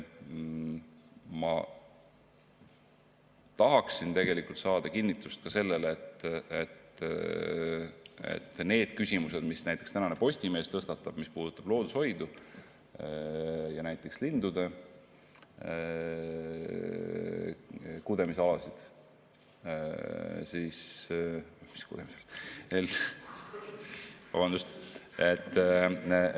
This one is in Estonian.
Ma tahaksin saada kinnitust ka sellele, et need küsimused, mis tänane Postimees tõstatab, mis puudutavad loodushoidu ja näiteks lindude kudemisalasid – või mis kudemisalasid, vabandust!